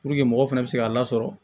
Puruke mɔgɔ fana bɛ se k'a lasɔrɔ